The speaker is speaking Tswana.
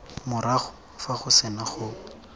morago fa go sena go